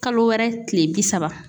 Kalo wɛrɛ kile bi saba.